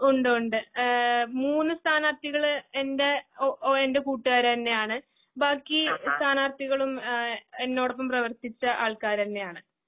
ഒണ്ടൊണ്ട് ഏഹ് മൂന്ന്സ്ഥാനാർത്ഥികള് എൻ്റെ ഒഓ കൂട്ടുകാര്തന്നെയാണ്. ബാക്കി സ്ഥാനാർത്ഥികളും ഏഹ് എന്നോടൊപ്പംപ്രവർത്തിച്ചആൾക്കാര്തന്നെയാണ്.